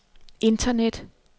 internet